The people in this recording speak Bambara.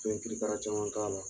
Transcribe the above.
Oye krikra caman k'a la